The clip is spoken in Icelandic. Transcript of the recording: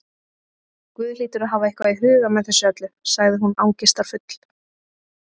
Guð hlýtur að hafa eitthvað í huga með þessu öllu- sagði hún angistarfull.